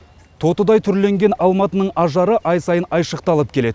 тотыдай түрленген алматының ажары ай сайын айшықталып келеді